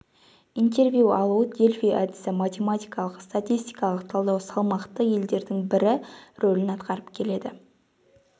интервью алу дельфи әдісі математикалық-статистикалық талдау салмақты елдердің бірі рөлін атқарып келеді